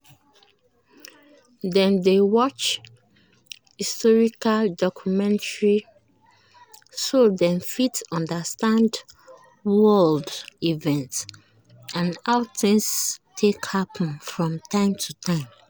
dem dey watch historical documentary so dem fit understand world events and how things take happen from time to time